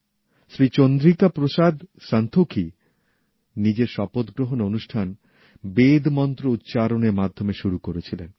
শ্রী চন্দ্রিকা প্রসাদ সন্তোখী নিজের শপথ গ্রহণ অনুষ্ঠান বেদ মন্ত্র উচ্চারণ এর মাধ্যমে শুরু করেছিলেন